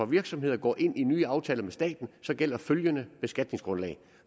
virksomheder går ind i nye aftaler med staten gælder følgende beskatningsgrundlag